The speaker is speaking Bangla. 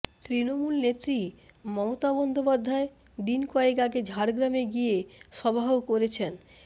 তৃণমূল নেত্রী মমতা বন্দ্যোপাধ্যায় দিন কয়েক আগে ঝাড়গ্রামে গিয়ে সভাও করেছেন